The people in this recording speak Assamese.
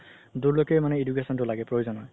দুৰলৈকে education তো লাগে মানে প্ৰয়োজন হয়